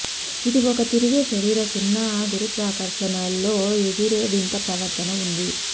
ఇది ఒక తిరిగే శరీర సున్నా గురుత్వాకర్షణ లో ఎగిరే వింత ప్రవర్తన ఉంది